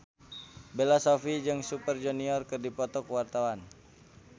Bella Shofie jeung Super Junior keur dipoto ku wartawan